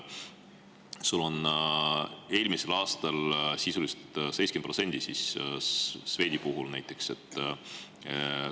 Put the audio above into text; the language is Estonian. Eelmisel aastal oli see Swedi puhul näiteks sisuliselt 70%.